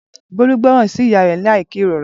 Bolu gboran si iya re lai kerora